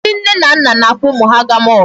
Ndị nne na nna na-akpọ ụmụ ha aga mall.